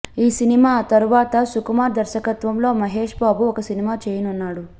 ఈ సినిమా తరువాత సుకుమార్ దర్శకత్వంలో మహేశ్ బాబు ఒక సినిమా చేయనున్నాడు